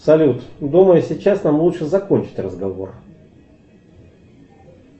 салют думаю сейчас нам лучше закончить разговор